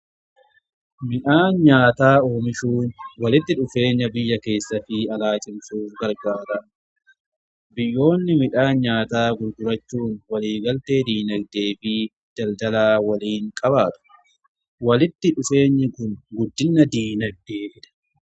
Midhaan nyaataa oomishuu walitti dhufeenya biyya keessa fi alaa cimsuuf gargaara biyyoonni midhaan nyaataa gurgurachuun waliigaltee diinagdee fi daldaalaa waliin qabaatu walitti dhufeenyi kun guddinna diinagdee fida.